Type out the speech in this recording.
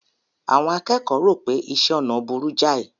Àwọn akẹ́kọ̀ọ́ rò pé iṣẹ́ ọnà burú jáì.